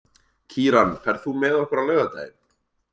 Kíran, ferð þú með okkur á laugardaginn?